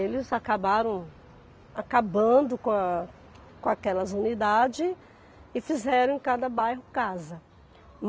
Eles acabaram acabando com com aquelas unidades e fizeram em cada bairro casa.